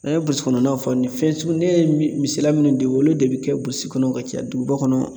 N'a ye burusikɔnɔw fɔ ni fɛn sugu ne ye misaliya minnu di, olu de bɛ kɛ kɔnɔ ka caya duguba kɔnɔ